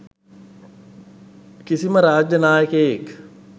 කිසිම රාජ්‍ය නායකයෙක්